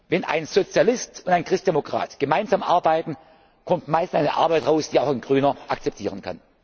mir. Wenn ein Sozialist und ein Christdemokrat gemeinsam arbeiten, kommt meist eine Arbeit heraus, die auch ein Grüner akzeptieren kann.